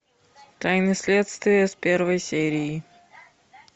тайны следствия с первой серии